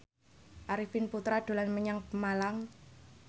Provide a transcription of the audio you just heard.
Arifin Putra dolan menyang Pemalang